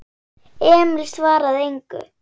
Emil svaraði engu.